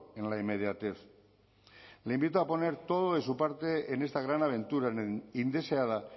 en la inmediatez le invito a poner todo de su parte en esta gran aventura indeseada